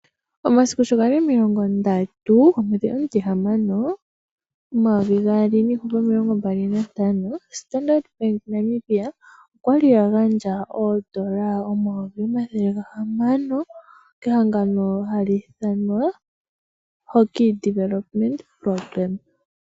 Omasiku shi gali omilongo ndatu omwedhi omutihamano 2025, Starndart Bank Namibia okwali agandja oondola omayovi omathele gahamano kehangano hali ithanwa Hokey Development.